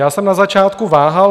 Já jsem na začátku váhal.